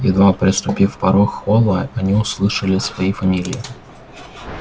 едва переступив порог холла они услышали свои фамилии